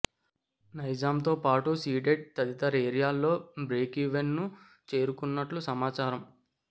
నైజాం తో పాటు సీడెడ్ తదితర ఏరియాల్లో బ్రేక్ ఈవెన్ ను చేరుకున్నట్లు సమాచారం